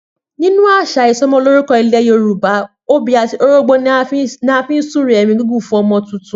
Nínú àṣà isọmọlúrúkọ ilẹ̀ Yorùbá, obì àti orógbó ni a fi ń súre ẹ̀mí gígùn fún ọmọ tuntun